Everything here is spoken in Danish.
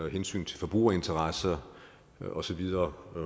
og hensyn til forbrugerinteresser og så videre